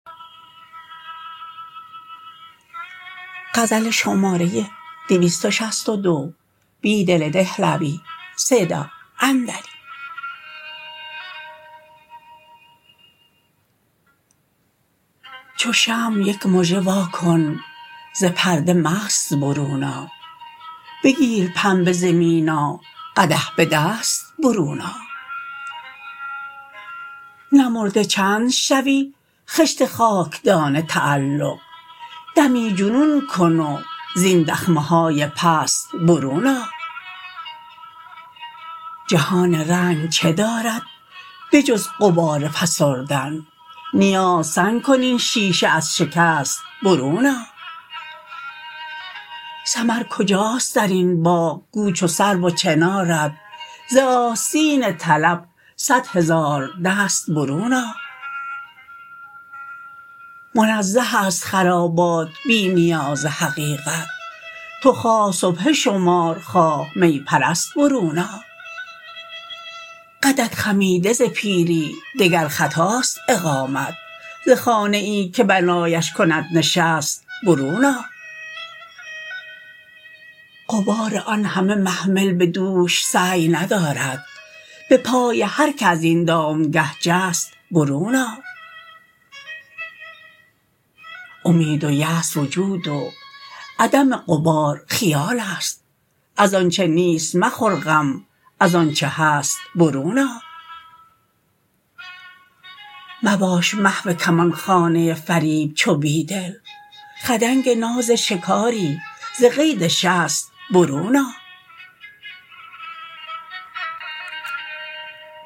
چو شمع یک مژه وا کن ز پرده مست برون آ بگیر پنبه ز مینا قدح بدست برون آ نمرده چند شوی خشت خاکدان تعلق دمی جنون کن و زین دخمه های پست برون آ جهان رنگ چه دارد به جز غبار فسردن نیاز سنگ کن این شیشه از شکست برون آ ثمر کجاست در این باغ گو چو سرو و چنارت ز آستین طلب صدهزار دست برون آ منزه است خرابات بی نیاز حقیقت تو خواه سبحه شمر خواه می پرست برون آ قدت خمیده ز پیری دگر خطاست اقامت ز خانه ای که بنایش کند نشست برون آ غبار آن همه محمل به دوش سعی ندارد به پای هرکه از این دامگاه جست برون آ امید و یاس وجود و عدم غبار خیال است از آنچه نیست مخور غم از آنچه هست برون آ مباش محو کمان خانه فریب چو بیدل خدنگ نازشکاری ز قید شست برون آ